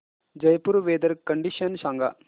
Jaipur weather condition सांगा